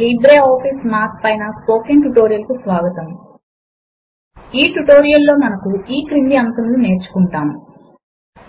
LibreOffice Math పైన spoken tutorial కు స్వాగతము ఈ ట్యుటోరియల్ లో మనము పరిచయము మరియు లిబ్రేఆఫీస్ మాథ్